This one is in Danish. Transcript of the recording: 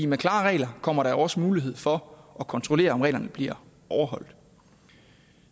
med klare regler kommer der jo også mulighed for at kontrollere om reglerne bliver overholdt